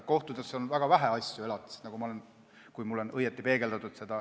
Kohtutes on väga vähe elatisasju, kui mulle on õigesti seda peegeldatud.